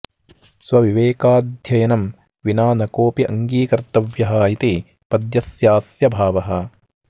स्वविवेकाध्ययनम् विना न कोपि अङ्गीकर्तव्यः इति पद्यस्यास्य भावः